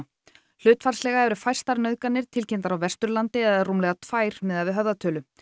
hlutfallslega eru fæstar nauðganir tilkynntar á Vesturlandi eða rúmlega tvær miðað við höfðatölu